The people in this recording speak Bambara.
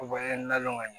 U bɛɛ n'a lɔw ka ɲin